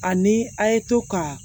Ani a' ye to ka